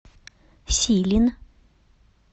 силин